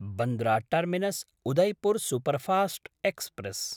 Bandra टर्मिनस्–उदयपुर् superfast express